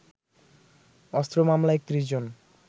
অস্ত্র মামলায় ৩১ জন